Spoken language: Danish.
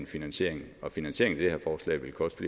finansiering og finansieringen af det her forslag vil koste